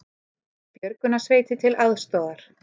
Björgunarsveitir til aðstoðar